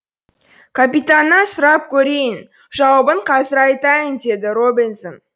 капитаннан сұрап көрейін жауабын қазір айтамын деді робинзон